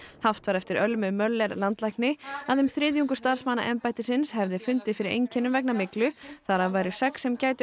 haft var eftir Ölmu Möller landlækni að um þriðjungur starfsmanna embættisins hefði fundið fyrir einkennum vegna myglu þar af væru sex sem gætu